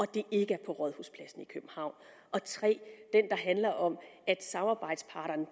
det ikke er på rådhuspladsen i københavn og 3 at det handler om samarbejdspartnerne og